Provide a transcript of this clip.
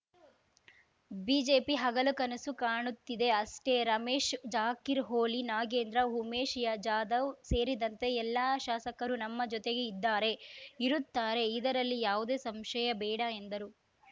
BJP ಹಗಲು ಕನಸು ಕಾಣುತ್ತಿದೆ ಅಷ್ಟೇ ರಮೇಶ್‌ ಜಾಕಿರ್ ಹೊಳಿ ನಾಗೇಂದ್ರ ಉಮೇಶ್ ಯಾ ಜಾಧವ್ ಸೇರಿದಂತೆ ಎಲ್ಲಾ ಶಾಸಕರು ನಮ್ಮ ಜೊತೆಗೆ ಇದ್ದಾರೆ ಇರುತ್ತಾರೆ ಇದರಲ್ಲಿ ಯಾವುದೇ ಸಂಶಯಬೇಡ ಎಂದರು